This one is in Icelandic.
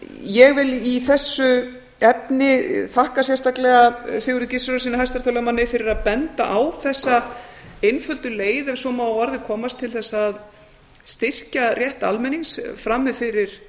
ég vil í þessu efni þakka sérstaklega sigurði gizurarsyni hæstaréttarlögmanni fyrir að benda á þessa einföldu leið ef svo má að orði komast til þess að styrkja rétt almennings frammi fyrir